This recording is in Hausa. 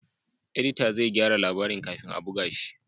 Edita zai gyara labarin kafin a buga shi